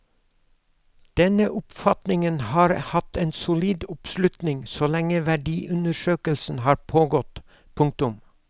Denne oppfatningen har hatt en solid oppslutning så lenge verdiundersøkelsen har pågått. punktum